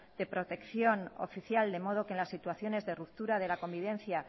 de protección oficial de modo que en las situaciones de ruptura de la convivencia